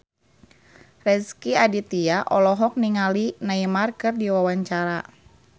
Rezky Aditya olohok ningali Neymar keur diwawancara